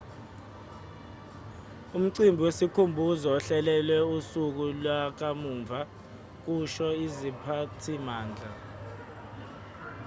umcimbi wesikhumbuzo uhlelelwe usuku lwakamuva kusho iziphathimandla